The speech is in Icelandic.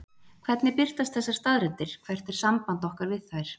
Hvernig birtast þessar staðreyndir, hvert er samband okkar við þær?